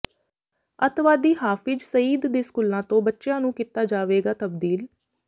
ਅੱਤਵਾਦੀ ਹਾਫਿਜ ਸਈਦ ਦੇ ਸਕੂਲਾਂ ਤੋਂ ਬੱਚਿਆਂ ਨੂੰ ਕੀਤਾ ਜਾਵੇਗਾ ਤਬਦੀਲ